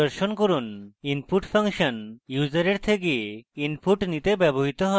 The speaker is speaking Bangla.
input ফাংশন ইউসারের থেকে input নিতে ব্যবহৃত হয়